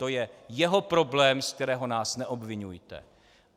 To je jeho problém, ze kterého nás neobviňujte.